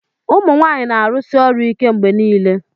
ụmụ nwanyị na-arụsi ọrụ ike mgbe niile